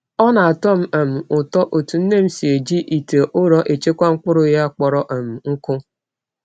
Ọ na-atọ m um ụtọ otú nne m si eji ite ụrọ echekwa mkpụrụ ya kpọrọ um nkụ.